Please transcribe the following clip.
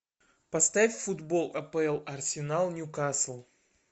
поставь футбол апл арсенал ньюкасл